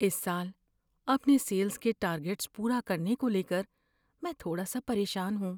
اس سال اپنے سیلز کے ٹارگیٹس پورا کرنے کو لے کر میں تھوڑا سا پریشان ہوں۔